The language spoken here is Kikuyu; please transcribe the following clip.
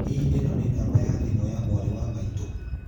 Hihi ũyũ nĩ namba ya thimũ ya mwarĩ wa maitũ